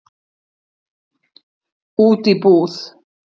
Út í búð?